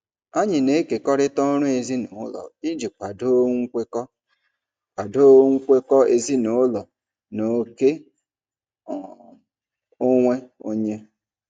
Anyị na-ekekọrịta ọrụ ezinụlọ iji kwado nkwekọ kwado nkwekọ ezinụlọ na oke um onwe onye.